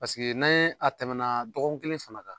Paseke n'a ye a tɛmɛna dɔgɔkun fana kan.